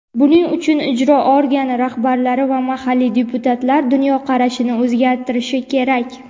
Buning uchun ijro organi rahbarlari va mahalliy deputatlar dunyoqarashini o‘zgartirishi kerak.